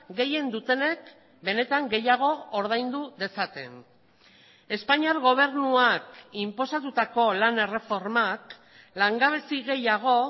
gehien dutenek benetan gehiago ordaindu dezaten espainiar gobernuak inposatutako lan erreformak langabezi gehiago